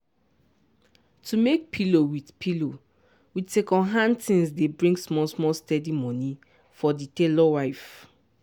to make pillow with pillow with second hand tins dey bring small-small steady money for di tailor wife.